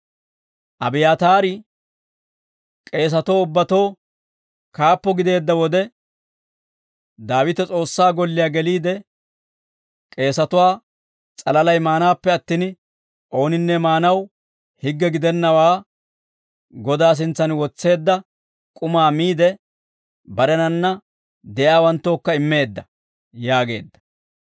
Abiyaataari k'eesatoo ubbatoo kaappo gideedda wode, Daawite S'oossaa golliyaa geliide, k'eesatuwaa s'alalay maanaappe attin, ooninne maanaw higge gidennawaa Godaa sintsan wotseedda k'umaa miide, barenanna de'iyaawanttookka immeedda» yaageedda.